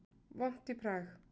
Vont í Prag